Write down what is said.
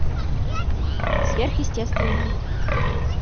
сверхъестественное